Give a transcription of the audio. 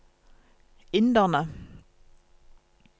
inderne